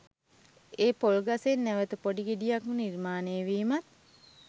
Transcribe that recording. ඒ පොල්ගසෙන් නැවත පොඩි ගෙඩියක්ම නිර්මාණයවීමත්